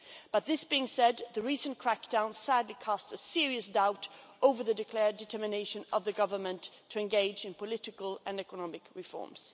But this being said, the recent crackdown sadly cast serious doubt over the declared determination of the Government to engage in political and economic reforms.